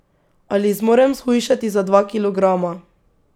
Ali zmorem shujšati za dva kilograma.